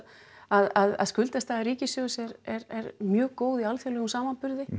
að skuldastaða ríkissjóðs er er mjög góð í alþjóðlegum samanburði